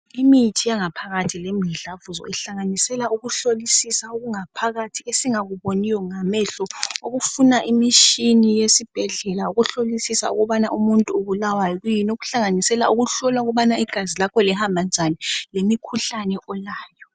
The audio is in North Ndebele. Imithi yangaphaphakathi lemidlavuzo ihlanganisela ukuhlolisisa okungaphakathi esingakuboniyo ngamehlo okufuna imitshina yesibhedlela ukuhlolisisa ukubana umuntu ubulawa yini okuhlanganisela ukuhlolwa ukubana igazi lakho lihamba njani lemikhuhlane olayo.